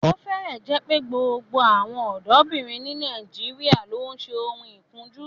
Ó fẹ́rẹ̀ẹ́ jẹ́ pé gbogbo àwọn ọ̀dọ́bìnrin ní Nàìjíríà ló ń ṣe oun ikunju